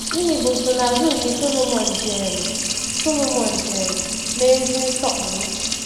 Gịnị bụ nsonaazụ nke Sọlọmọn ji elu Sọlọmọn ji elu mee ezi nsọpụrụ?